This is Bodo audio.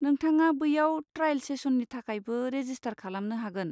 नोंथाङा बैयाव ट्राएल सेसननि थाखायबो रेजिस्टार खालामनो हागोन।